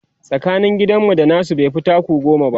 tsakanin gidan mu da nasu baifi taku goma ba